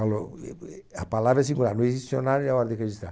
Falou, a palavra é singular, não existe em dicionário e é hora de registrar.